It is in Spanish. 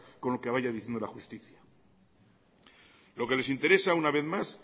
con lo que vaya diciendo la justicia lo que les interesa una vez más